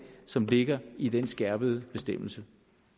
som ligger i den skærpede bestemmelse